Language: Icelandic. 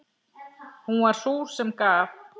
Hún var sú sem gaf.